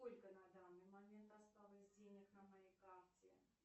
сколько на данный момент осталось денег на моей карте